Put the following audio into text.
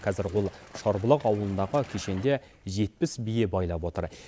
қазір ол шарбұлақ ауылындағы кешенде жетпіс бие байлап отыр